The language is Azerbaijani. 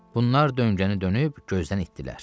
Bunlar döngəni dönüb gözdən itdirlər.